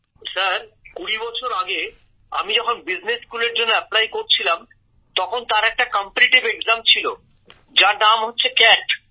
গৌরব sir কুড়ি বছর আগে আমি যখন বিজনেস স্কুলের জন্য আবেদন করছিলাম তখন তার একটা প্রতিযোগিতামূলক ছিল যার নাম হচ্ছে ক্যাট